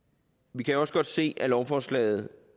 vi kan også godt se af lovforslaget